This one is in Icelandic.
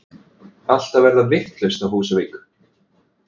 Allt að verða vitlaust á Húsavík!!!!!